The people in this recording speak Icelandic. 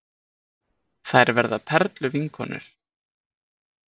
Þær verða perluvinkonur.